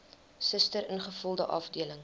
suster ingevulde afdeling